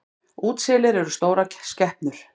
Útselir eru stórar skepnur.